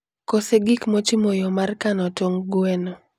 kose gik mochimo yo mar kano tong' gweno.